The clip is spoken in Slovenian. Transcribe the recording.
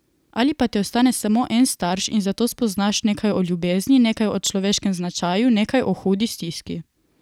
Ali pa ti ostane samo en starš in zato spoznaš nekaj o ljubezni, nekaj o človeškem značaju, nekaj o hudi stiski.